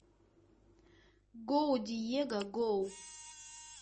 гоу диего гоу